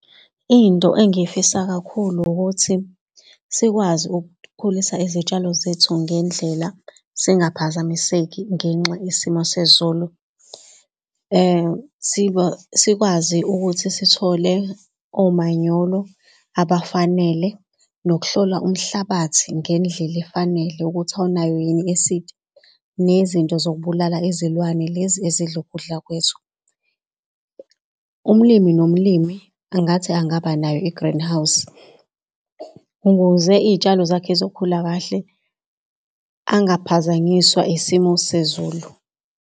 Into engiy'fisa kakhulu ukuthi sikwazi uk'khulisa iy'tshalo zethu ngendlela singaphazamiseki ngenxa yesimo sezulu. Sikwazi ukuthi sithole omanyolo abafanele nokuhlola umhlabathi ngendlela efanele ukuthi awunayo yini i-esidi. Nezinto zokubulala izilwane lezi ezidla ukudla kwethu. Umlimi nomlimi angathi angaba nayo i-greenhouse, ukuze iy'tshalo zakhe zokhula kahle angaphazanyiswa isimo sezulu.